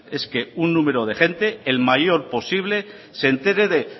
es que un número de gente el mayor posible se enteré de